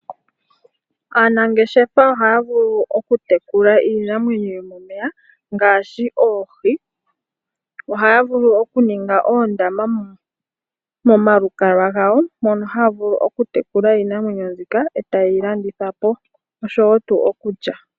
Aanangeshefa ohaya vulu oku tekula iinamwenyo yomomeya ngaashi oohi. Ohaya vulu oku ninga oondama momalukalwa gawo mono haya vulu oku tekula iinamwenyo mbika e ta ye yi landithwa po osho woo okulya.